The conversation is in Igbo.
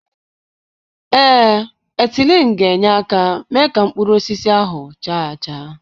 Ee, etịlin ga-enye aka mee ka mkpụrụ osisi ahụ chaa acha.